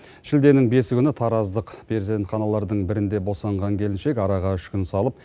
шілденің бесі күні тараздық перзентханалардың бірінде босанған келіншек араға үш күн салып